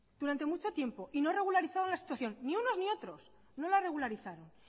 durante mucho tiempo y no regularizaron la situación ni unos ni otros no la regularizaron